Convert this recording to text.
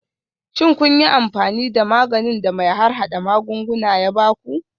Shin kun yi amfani da maganin da mai harhada magunguna ya ba ku?